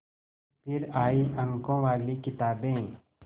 फिर आई अंकों वाली किताबें